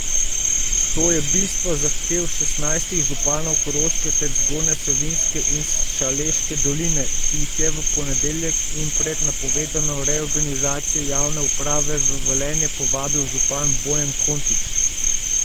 To je bistvo zahtev šestnajstih županov Koroške ter Zgornje Savinjske in Šaleške doline, ki jih je v ponedeljek in pred napovedano reorganizacijo javne uprave v Velenje povabil župan Bojan Kontič.